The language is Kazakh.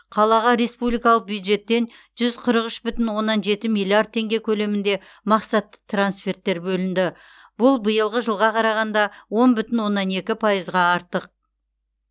қалаға республикалық бюджеттен жүз қырық үш бүтін оннан жеті миллиард теңге көлемінде мақсатты трансферттер бөлінді бұл биылғы жылға қарағанда он бүтін оннан екі пайызға артық